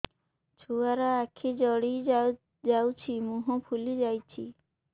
ଛୁଆର ଆଖି ଜଡ଼ି ଯାଉଛି ମୁହଁ ଫୁଲି ଯାଇଛି